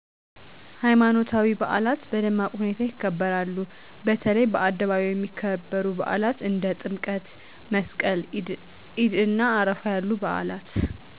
ሀይማኖታዊ በአላት በደማቅ ሁኔታ ይከበራሉ በተለይ በአደባባይ የሚከበሩ በአላት እንደ ጥምቀት/መስቀል /ኢድእና አረፋ ያሉት በአላት